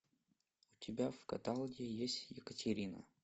у тебя в каталоге есть екатерина